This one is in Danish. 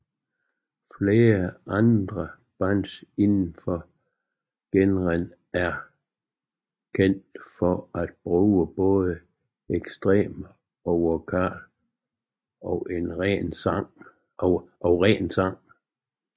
Flere andre bands indenfor genren er kendt for at bruge både ekstrem vokal og ren sang